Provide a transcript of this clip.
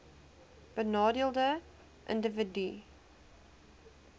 benadeelde individue hbis